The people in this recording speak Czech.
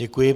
Děkuji.